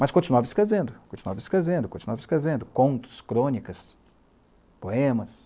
Mas continuava escrevendo, continuava escrevendo, continuava escrevendo contos, crônicas, poemas.